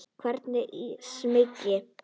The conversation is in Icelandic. Hvergi smeyk.